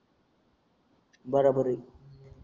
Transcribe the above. बराबर आहे